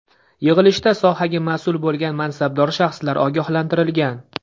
Yig‘ilishda sohaga mas’ul bo‘lgan mansabdor shaxslar ogohlantirilgan.